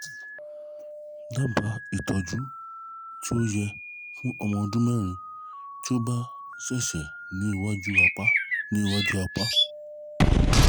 daba itoju ti o ye fun omo odunmeri ti o ba sese ni iwaju apa ni iwaju apa